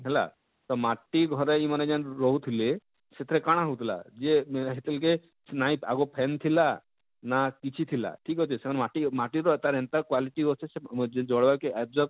ହେଲା ତ ମାଟି ଘରେ ଇମାନେ ଯେନ ରହୁ ଥିଲେ ସେଥିରେ କାଣା ହଉ ଥିଲା ଯେ ହେତେବେଳ କେ ନାଇଁ ଆଗୋ fan ଥିଲା ନା କିଛି ଥିଲା ଠିକ ଅଛେ ସେମାନେ ମାଟି ମାଟି ମାଟିର ଏନତା quality ଅଛେ ସେ ସ ଜଳ କେ ଏପଜବ